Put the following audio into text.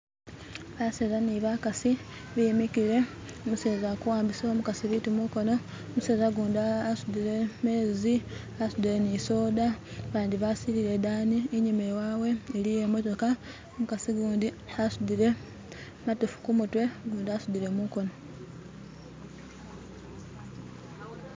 baseza ni bakasi bemikile umuseza aliko awambisa umukasi bitu mukono umuseza gundi asudile mezi asudile nisoda bandi basilile idani inyuma iwawe iliyo imotoka umukasi gundi asudile matofu kumutwe gundi asudile mukono